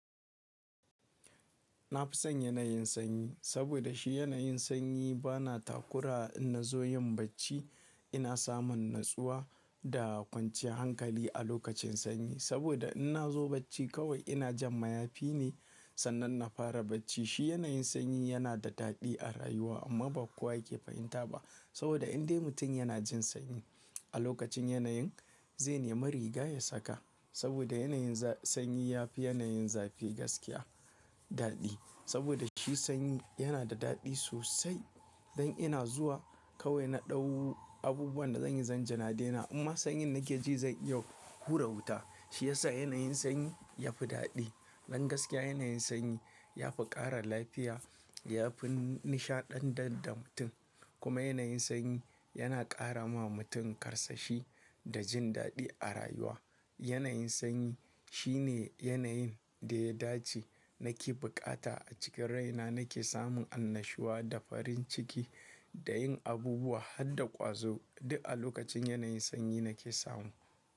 Na fi son yanayin sanyi, saboda shi yanayin sanyi bana takura in na zo yin bacci ina samun natsuwa da kwanciyar hankali a lokacin sanyi. Saboda in na zo bacci kawai ina jan mayafi ne, sannan na fara bacci. Shi yanayin sanyi yana da daɗi a rayuwa amma ba kowa yake fahimta ba. Saboda indai mutum yana jin sanyi a lokacin yanayin zai nemi riga ya saka. Saboda yanayin za-sanyi ya fi yanayin zafi gaskiya daɗi. Saboda shi sanyi yana da daɗi sosai. Dan ina zuwa kawai na ɗau abubuwan da zanyi zan jan adena amma sanyin da nake ji zai iya hura wuta. Shi yasa yanayin sanyi yafi daɗi. Don gaskiya yanayin sanyi yafi ƙara lafiya, yafi nishaɗantar da mutum. Kuma yanayin sanyi yana ƙara ma mutum karsashi da jin daɗi a rayuwa. Yanayin sanyi shine yanayin da ya dace nake buƙata a cikin rai na nake samun annashuwa da farin ciki da yin abubuwa har da ƙwazo duk a lokacin yanayin sanyi nake samu.